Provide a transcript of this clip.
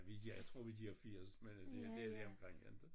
Ja vi er jeg tror vi er de der 80 men øh det er det er lige omkring inte